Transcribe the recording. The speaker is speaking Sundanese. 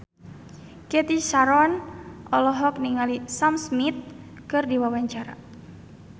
Cathy Sharon olohok ningali Sam Smith keur diwawancara